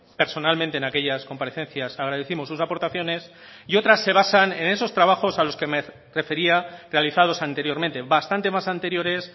personalmente en aquellas comparecencias agradécimos sus aportaciones y otras se basan en esos trabajos a los que me refería realizados anteriormente bastante más anteriores